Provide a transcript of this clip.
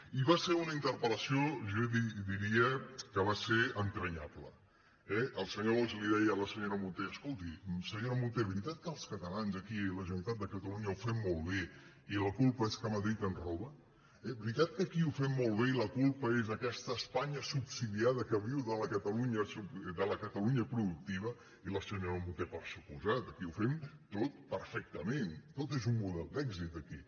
i va ser una interpel·ble eh el senyor bosch deia a la senyora munté es·colti senyora munté veritat que els catalans aquí a la generalitat de catalunya ho fem molt bé i la culpa és del fet que madrid ens roba veritat que aquí ho fem molt bé i la culpa és d’aquesta espanya subsidiada que viu de la catalunya productiva i la senyora munté per descomptat aquí ho fem tot perfectament tot és un model d’èxit aquí